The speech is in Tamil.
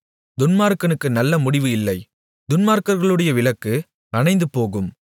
துன்மார்க்கனுக்கு நல்ல முடிவு இல்லை துன்மார்க்கர்களுடைய விளக்கு அணைந்துபோகும்